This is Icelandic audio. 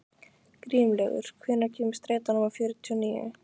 Grímlaugur, hvenær kemur strætó númer fjörutíu og níu?